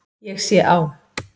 Ég sé á